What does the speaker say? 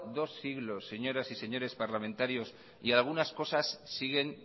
dos siglos señores y señoras parlamentarios y algunas cosas siguen